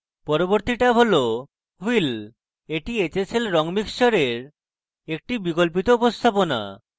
পরবর্তী tab hsl wheel এই hsl রঙ মিক্সচারের একটি বিকল্পিত উপস্থাপনা